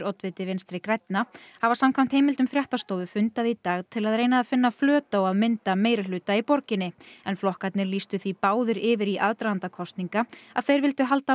oddviti Vinstri grænna hafa samkvæmt heimildum fréttastofu fundað í dag til að reyna að finna flöt á að mynda meirihluta í borginni en flokkarnir lýstu því báðir yfir í aðdraganda kosninga að þeir vildu halda